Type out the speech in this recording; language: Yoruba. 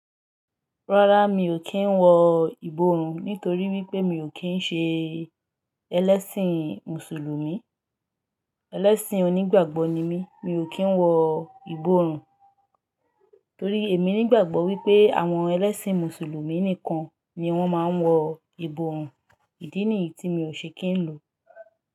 Rárá mi ò kí ń wọ ìborùn nítorí wípé mi ò kí ń ṣe ẹlẹ́sìn mùsùlùmí. Ẹlẹ́sìn onígbàgbọ́ ni mí, mi ò kí ń wọ ìborùn torí èmi nígbàgbọ́ wípé àwọn ẹlẹ́sìn mùsùlùmí nìkan ni wón máa ń wọ ìborùn. Ìdí nìyí tí mi ò ṣe kí ń lò.